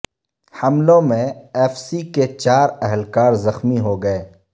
حملوں میں F C کے چار اہلکار زخمی ہو گئے